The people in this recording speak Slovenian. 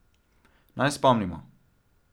Naj spomnimo.